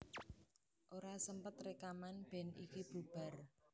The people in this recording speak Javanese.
Ora sempet rekaman band iki bubar